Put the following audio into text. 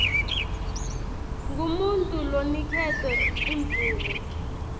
ngumuntfu loniketwe imvumo